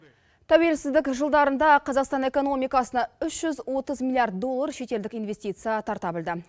тәуелсіздік жылдарында қазақстан экономикасына үш жүз отыз миллиард доллар шетелдік инвестиция тарта білді